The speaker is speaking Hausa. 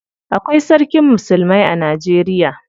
Akwai sarkin musulmai a Najeriya.